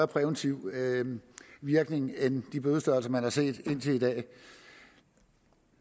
præventiv virkning end de bødestørrelser man har set indtil i dag